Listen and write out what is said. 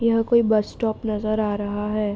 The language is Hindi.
यह कोई बस स्टॉप नजर आ रहा है।